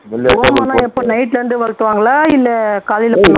ஓமம் எல்லாம் எப்போ night ல இருந்தே வளர்த்துவாங்களா இல்லை காலைல பண்ணு